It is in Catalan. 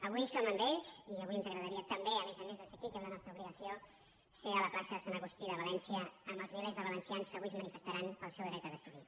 avui som amb ells i avui ens agradaria també a més a més de ser aquí que és la nostra obligació ser a la plaça de sant agustí de valència amb els milers de valencians que avui es manifestaran pel seu dret a decidir